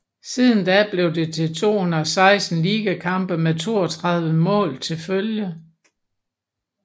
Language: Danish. Siden da blev det til 216 ligakampe med 32 mål til følge